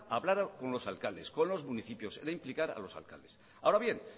hablar con los alcaldes con los municipios era implicar a los alcaldes ahora bien